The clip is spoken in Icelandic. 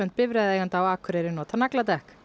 bifreiðaeigenda á Akureyri nota nagladekk